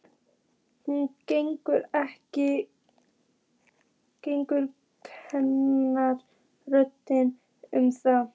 Hún getur ekki kennt öðrum um það.